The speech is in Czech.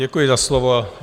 Děkuji za slovo.